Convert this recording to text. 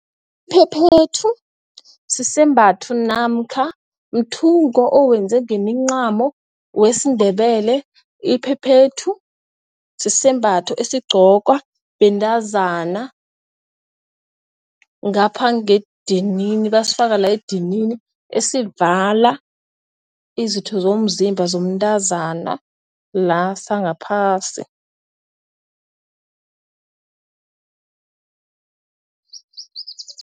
Iphephethu sisembatho namkha mthungo owenze ngemincamo wesiNdebele. Iphephethu sisembatho esigqokwa bentazana ngaphangedidini basifaka la edinini esivala izitho zomzimba zomntazana la sangaphasi.